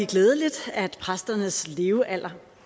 glædeligt at præsternes levealder